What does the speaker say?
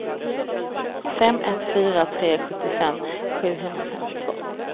fem ett fyra tre sjuttiofem sjuhundrafemtiotvå